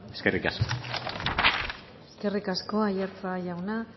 eskerrik asko eskerrik asko aiartza jauna